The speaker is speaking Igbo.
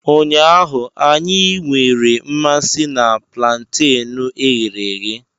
Ụnyaahụ, anyị nwere mmasị na plantenu e ghere eghe.